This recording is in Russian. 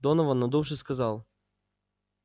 донован надувшись сказал